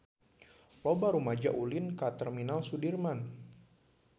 Loba rumaja ulin ka Terminal Sudirman